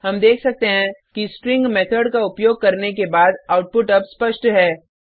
हम देख सकते हैं कि स्ट्रिंग मेथड का उपयोग करने के बाद आउटपुट अब स्पष्ट है